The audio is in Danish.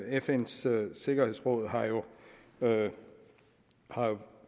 fns sikkerhedsråd har jo jo